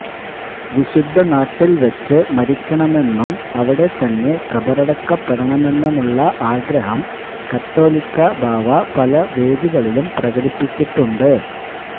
വിശുദ്ധ നാട്ടിൽ വച്ച് മരിക്കണമെന്നമെന്നും അവിടെത്തന്നെ കബറക്കപ്പെടണമെന്നുമിള്ള ആഗ്രഹം കത്തോലിക്കാബാവ പല വേദികളിലും പ്രകടിപ്പിച്ചിട്ടുണ്ട്